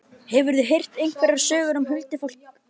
Hefurðu heyrt einhverjar sögur um huldufólk þar?